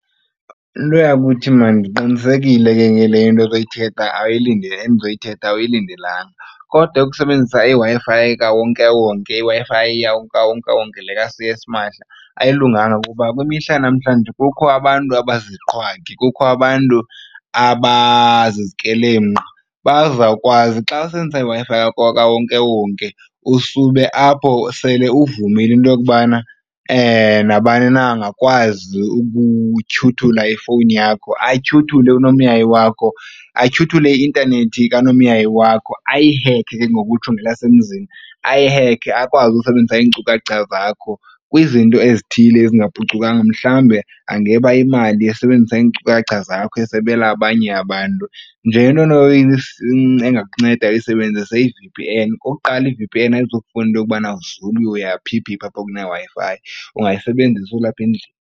Nto yakuthi, maan ndiqinisekile ke ngale into endizoyithetha awuyilindelanga kodwa ukusebenzisa iWi-Fi kawonkewonke iWi-Fi kawonkewonke le yasimahla ayilunganga. Kuba kwimihla yanamhlanje kukho abantu abaziziqhwagi kukho abantu abazizikrelemnqa bazawukwazi. Xa usebenzisa iWi-Fi kawonkewonke usube apho sele uvumile into yokubana nabani na angakwazi ukutyhuthula ifowuni yakho atyhuthule unomyayi wakho atyhuthule i-intanethi kanomyayi wakho ayihekhe ke ngokutsho ngelasemzini, ayihekhe akwazi ukusebenzisa iinkcukacha zakho kwizinto ezithile ezingaphucukanga. Mhlawumbi angeba imali esebenzisa iinkcukacha zakho esebela abanye abantu. Ngento engakunceda uyisebenzise yi-V_P_N. Okokuqala, i-V_P_N ayizufuna into yokubana uzule uya phi phi phi apho kuneWi-Fi, ungayisebenzisi ulapha endlini.